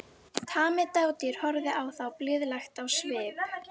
Tamið dádýr horfði á þá blíðlegt á svip.